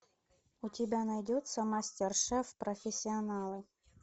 у тебя найдется мастер шеф профессионалы